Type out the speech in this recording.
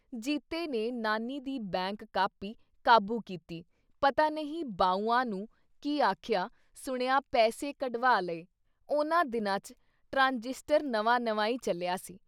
ਜੀਤੇ ਨੇ ਨਾਨੀ ਦੀ ਬੈਂਕ ਕਾਪੀ ਕਾਬੂ ਕੀਤੀ ਪਤਾ ਨਹੀਂ ਬਾਊਆਂ ਨੂੰ ਕੀ ਆਖਿਆ-ਸੁਣਿਆ ਪੈਸੇ ਕਢਵਾ ਲਏ ਉਨ੍ਹਾਂ ਦਿਨਾਂ 'ਚ ਟਰਾਂਜਿਸਟਰ ਨਵਾਂ-ਨਵਾਂ ਈ ਚੱਲਿਆ ਸੀ।